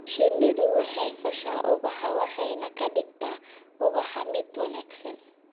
Shinnidu waxay fasha ubaxa waxayna ka dhigtaa ubaxa mid wanaagsan.